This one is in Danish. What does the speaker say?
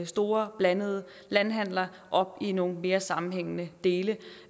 store blandede landhandler op i nogle mere sammenhængende dele